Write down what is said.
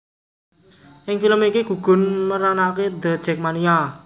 Ing film iki gugun meranaké The Jakmania